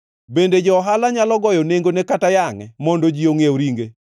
Bende jo-ohala nyalo goyo nengone kata yangʼe mondo ji ongʼiew ringe?